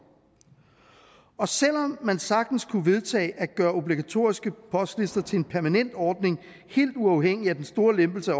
og selv om man sagtens kunne vedtage at gøre obligatoriske postlister til en permanent ordning helt uafhængig af den store lempelse af